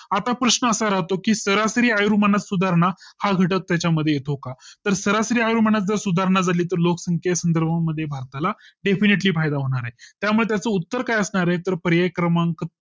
आता प्रश्न असा होतो की सरासरी आयुर्मानात सुधारणा हा घटक त्याच्या मध्ये तो का तर सरासरी आयुर्मानात सुधारणा झाली तर लोकसंख्ये संदर्भ मध्ये भारताला Definitily फायदा होणार आहे त्यामुळे उत्तर काय असणार आहे तर पर्याय क्रमांक